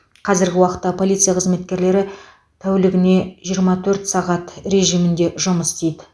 қазіргі уақытта полиция қызметкерлері тәүлігіне жиырма төрт сағат режимінде жұмыс істейді